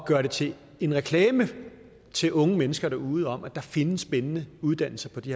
gøre det til en reklame til unge mennesker derude om at der findes spændende uddannelser på de